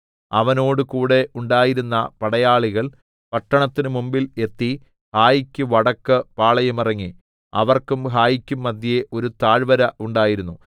അവനോടുകൂടെ ഉണ്ടായിരുന്ന പടയാളികൾ പട്ടണത്തിന് മുമ്പിൽ എത്തി ഹായിക്ക് വടക്ക് പാളയമിറങ്ങി അവർക്കും ഹായിക്കും മദ്ധ്യേ ഒരു താഴ്‌വര ഉണ്ടായിരുന്നു